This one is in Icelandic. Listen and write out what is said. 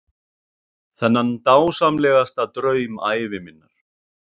Þennan dásamlegasta draum ævi minnar.